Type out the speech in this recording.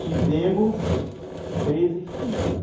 Tivemos treze filhos.